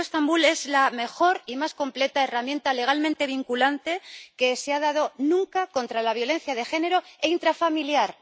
El Convenio de Estambul es la mejor y más completa herramienta legalmente vinculante que se ha dado nunca contra la violencia de género e intrafamiliar.